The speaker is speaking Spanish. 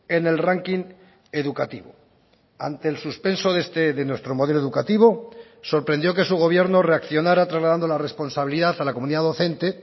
en el ranking educativo ante el suspenso de nuestro modelo educativo sorprendió que su gobierno reaccionara trasladando la responsabilidad a la comunidad docente